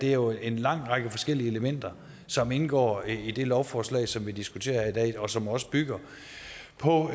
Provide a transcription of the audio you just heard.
er jo en lang række forskellige elementer som indgår i det lovforslag som vi diskuterer her i dag og som også bygger på